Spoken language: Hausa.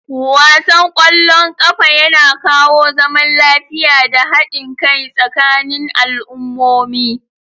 Wasan ƙwallon ƙafa yana kawo zaman lafiya da haɗin kai tsakanin al'ummomi.